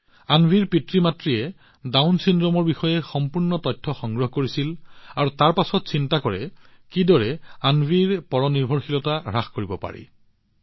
অন্বীৰ পিতৃমাতৃয়ে ডাউন চিণ্ড্ৰোমৰ বিষয়ে সম্পূৰ্ণ তথ্য সংগ্ৰহ কৰিছিল আৰু তাৰ পিছত আনৰ ওপৰত অন্বীৰ নিৰ্ভৰশীলতা কেনেদৰে হ্ৰাস কৰিব লাগে সিদ্ধান্ত লৈছিল